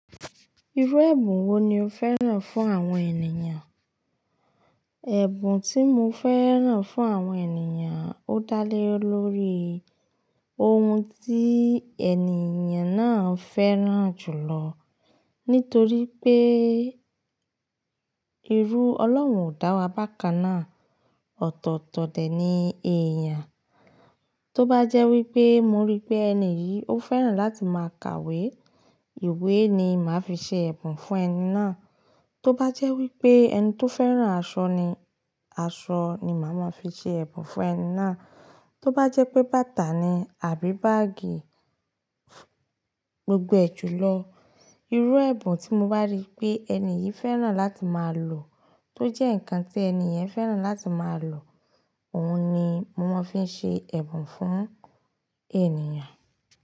Irú ẹ̀bùn wo ni o fẹ́ràn fún àwọn ènìyàn? Ẹ̀bùn tí mo fẹ́ràn fún àwọn ènìyàn, ó dá lé lórí ohun tí ènìyàn náà fẹ́ràn jùlọ. Nítorí pé ìrù Ọlọ́run ò dá wa bákan náà, ọ̀tọ̀ọ̀tọ̀ dẹ̀ ni èèyàn. Tóbájẹ́ wípé, mo rí pé ẹni yìí ó fẹ́ràn láti máa ka ìwé, ìwé ni màá fi ṣe ẹ̀bùn fún ẹni náà. Tóbájẹ́ wípé ẹni tó fẹ́ràn aṣọ ni, aṣọ ni màá fi ṣe ẹ̀bùn fún ẹni náà. Tóbájẹ́ pé bàtà ni àbí báágì, gbogbo ẹ̀ jùlọ, irú ẹ̀bùn tí mo bá rí pé ènìyi fẹ́ràn láti máa lò, tó jẹ́ ǹkan tí ènìyàn fẹ́ràn láti máa lò, òhun ni mo máa fi ṣe ẹ̀bùn fún ènìyàn.